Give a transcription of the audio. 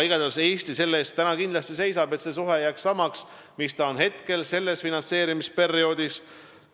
Igatahes seisab Eesti kindlasti selle eest, et see suhe jääks samaks, mis on sellel finantseerimisperioodil.